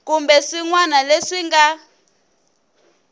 kumbe swin wana leswi nga